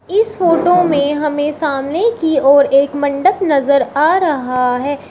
इस फोटो में हमें सामने की ओर एक मंडप नजर आ रहा है।